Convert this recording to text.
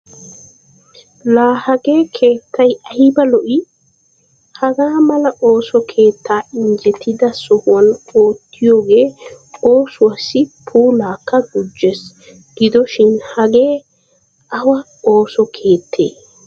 La hagee keettay aybba lo"ii! Hagaa mala ooso keettaa injjettida sohuwan oottiyoogee oosuwassi puulaakka gujjees. Gidoshin hagee awa ooso keettee?